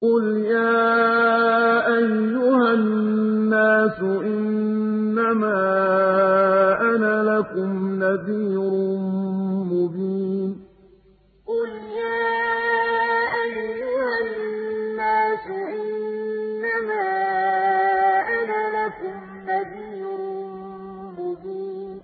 قُلْ يَا أَيُّهَا النَّاسُ إِنَّمَا أَنَا لَكُمْ نَذِيرٌ مُّبِينٌ قُلْ يَا أَيُّهَا النَّاسُ إِنَّمَا أَنَا لَكُمْ نَذِيرٌ مُّبِينٌ